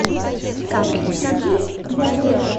салют включи ядрэя